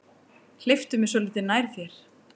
Hleyptu mér svolítið nær þér.